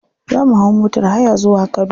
Za mu hau motar haya zuwa kano.